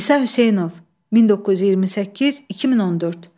İsa Hüseynov, 1928-2014.